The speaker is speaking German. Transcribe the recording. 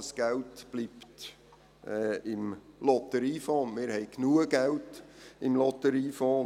Das Geld bleibt im Lotteriefonds, und wir haben genug Geld im Lotteriefonds.